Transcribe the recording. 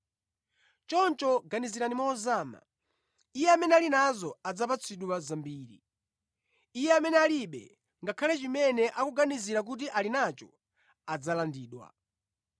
Choncho ganizirani mozama. Iye amene ali nazo adzapatsidwa zambiri, iye amene alibe, ngakhale chimene akuganiza kuti ali nacho adzalandidwa.”